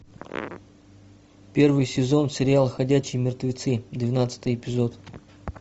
первый сезон сериал ходячие мертвецы двенадцатый эпизод